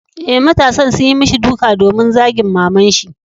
Eh, matasan sun yi mishi duka domin zagin maman shi.